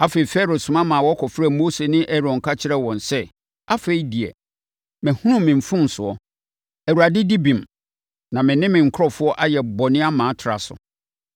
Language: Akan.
Afei, Farao soma ma wɔkɔfrɛɛ Mose ne Aaron ka kyerɛɛ wɔn sɛ, “Afei deɛ, mahunu me mfomsoɔ. Awurade di bem na me ne me nkurɔfoɔ ayɛ bɔne ama atra so.